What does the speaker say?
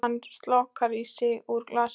Hann slokrar í sig úr glasinu.